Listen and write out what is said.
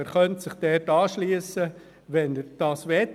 Er könnte sich also dort anschliessen, wenn er das will.